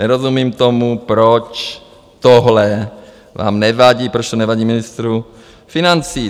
Nerozumím tomu, proč tohle vám nevadí, proč to nevadí ministru financí.